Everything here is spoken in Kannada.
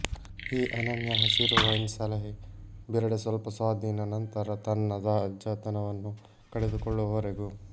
ಈ ಅನನ್ಯ ಹಸಿರು ವೈನ್ ಸಲಹೆ ಬಿರಡೆ ಸ್ವಲ್ಪ ಸ್ವಾಧೀನ ನಂತರ ತನ್ನ ತಾಜಾತನವನ್ನು ಕಳೆದುಕೊಳ್ಳುವರೆಗೂ